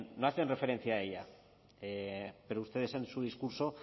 no hacen referencia a ella pero ustedes en su discurso